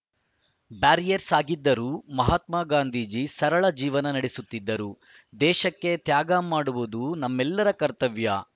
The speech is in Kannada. ಬ್ಯಾರಿಯಸ್ಟರ್‌ ಆಗಿದ್ದರೂ ಮಹಾತ್ಮ ಗಾಂಧೀಜಿ ಸರಳ ಜೀವನ ನಡೆಸುತ್ತಿದ್ದರು ದೇಶಕ್ಕೆ ತ್ಯಾಗ ಮಾಡುವುದು ನಮ್ಮೆಲ್ಲರ ಕರ್ತವ್ಯ